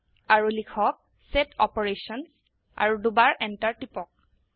আৰু লিখক set Operations আৰু দুবাৰ এন্টাৰ টিপক